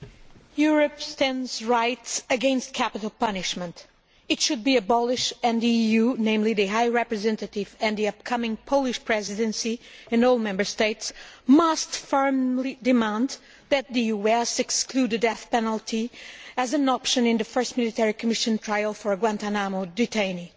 Mr President, Europe stands right against capital punishment. It should be abolished and the EU, particularly the High Representative and the upcoming Polish Presidency, and all the Member States, must firmly demand that the US exclude the death penalty as an option in the first military commission trial for a Guantánamo detainee.